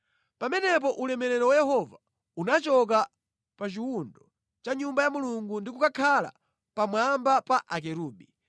Pamenepo ulemerero wa Yehova unachoka pa chiwundo cha Nyumba ya Mulungu ndi kukakhala pamwamba pa akerubi.